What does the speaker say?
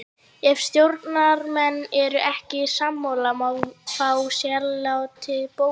Ef stjórnarmenn eru ekki sammála má fá sérálit bókuð.